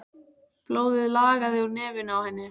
Blóðið lagaði úr nefinu á henni.